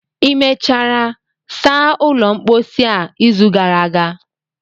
ị mechara saa ụlọ mposi a izu gara aga?